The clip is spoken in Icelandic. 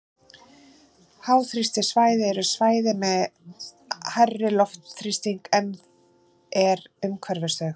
Háþrýstisvæði eru svæði með hærri loftþrýsting en er umhverfis þau.